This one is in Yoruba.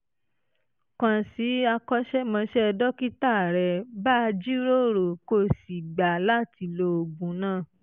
kàn sí akọ́ṣẹ́mọṣẹ́ dókítà rẹ bá a jíròrò kó o sì gbà láti lo oògùn náà